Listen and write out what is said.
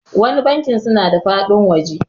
wani banki suna da faɗin waje